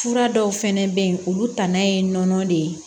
Fura dɔw fɛnɛ bɛ yen olu ta na ye nɔnɔ de ye